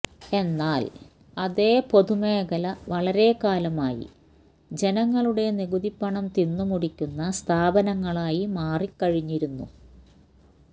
എന്നാൽ അതേ പൊതുമേഖല വളരെക്കാലമായി ജനങ്ങളുടെ നികുതിപ്പണം തിന്നു മുടിക്കുന്ന സ്ഥാപനങ്ങളായി മാറിക്കഴിഞ്ഞിരുന്നു